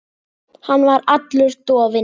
Hann var allur dofinn.